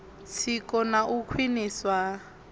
tsiko na u khwiniswa ha